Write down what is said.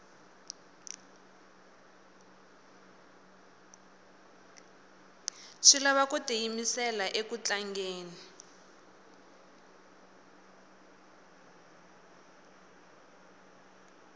swi lava ku tiyimisela uku tlangeni